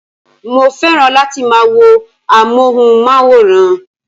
Mo fẹ́ràn láti máa wo amóhùnmáwòrán